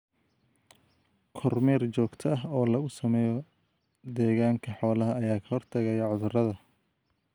Kormeer joogta ah oo lagu sameeyo deegaanka xoolaha ayaa ka hortagaya cudurrada.